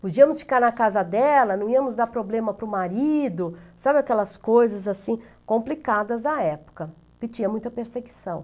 Podíamos ficar na casa dela, não íamos dar problema para o marido, sabe aquelas coisas assim complicadas da época, que tinha muita perseguição.